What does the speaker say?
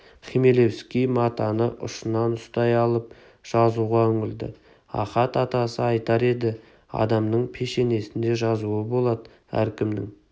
хмелевский матаны ұшынан ұстай алып жазуға үңілді ахат атасы айтар еді адамның пешенесінде жазуы болад әркімнің